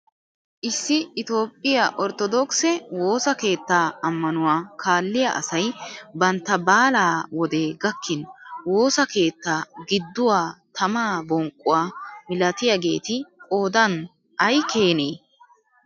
Issi itoophphiyaa orttoodokise woossa keettaa ammanuwaa kaalliyaa asay bantta baalaa wodee gakkin woossa keettaa gidduwaa tamaa bonqquwaa milatiyaageti qoodan ay keenee!